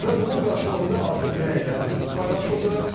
Və bunun qarşılığında artıq rəylər paylaşıldı.